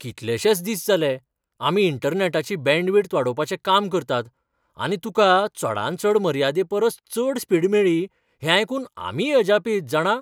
कितलेशेंच दीस जालें, आमी इंटरनॅटाची बँडविड्थ वाडोवपाचें काम करतात आनी तुका चडांत चड मर्यादे परस चड स्पिड मेळ्ळी हें आयकून आमीय अजापीत जाणा.